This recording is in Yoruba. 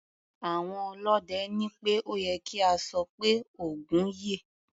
Àwọn ọlọ́dẹ ní pé ó ye kí a sọ pé "Ògún yè".